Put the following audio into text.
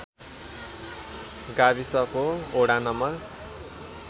गाविसको वडा नम्बर